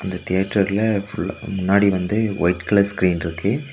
இந்த தெட்டர்ல ஃபுல் முன்னாடி வந்து ஒயிட் கலர் ஸ்கிரீன் ட்ருக்கு.